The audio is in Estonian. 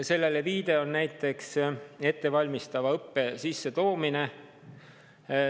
Sellele viitab näiteks ettevalmistava õppe sissetoomine.